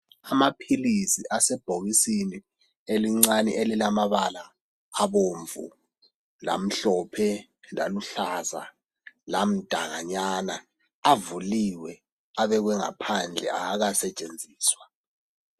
Amaphilisi asebhokisini elincani elilamabala abomvu lamhlophe laluhlaza lamdakanyana avuliwe abekwe ngaphandle awakasetshenziswa.